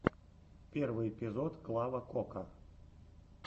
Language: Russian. первый эпизод клава кока